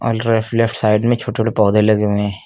और right left side में छोटे छोटे पौधे लगे हुए हैं।